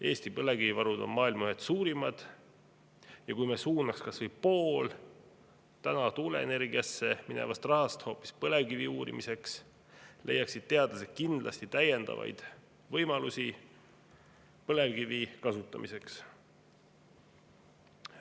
Eesti põlevkivivarud on maailmas ühed suurimad ja kui me suunaks kas või poole tuuleenergiasse minevast rahast hoopis põlevkivi uurimiseks, leiaksid teadlased kindlasti täiendavaid võimalusi põlevkivi kasutamiseks.